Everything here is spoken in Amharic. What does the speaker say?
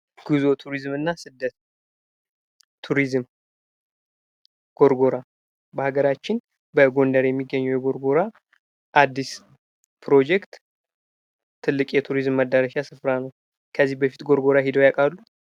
ጉዞ ቱሪዝም እና ስደት ቱሪዝም ጎርጎራ በሀገራችን በጎንደር የሚገኘው ጎርጎራ አዲስ ፕሮጀክት ትልቅ የቱሪዝም መዳረሻ ስፍራ ነው። ከዚህ በፊት ጎርጎራ ሄደው ያውቃሉ?